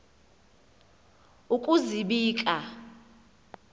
ukuzibika